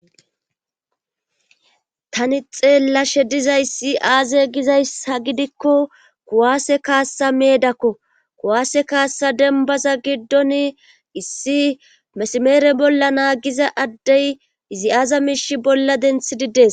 taani xeellashe dizayssi aaze gizayssa gidikko kuwaase kaassa meedakko kuwaase kaasaza dembba giddoni issi mesmeere bolla naagiza addey izi aaza miishshi bolla denttidi des